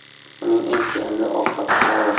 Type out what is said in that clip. Uning eng sevimli ovqati palov.